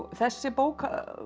þessi bók